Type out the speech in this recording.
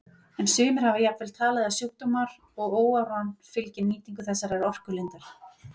En sumir hafa jafnvel talið að sjúkdómar og óáran fylgi nýtingu þessarar orkulindar.